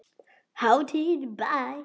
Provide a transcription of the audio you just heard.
Hátíð í bæ